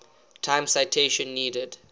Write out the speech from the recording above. time citation needed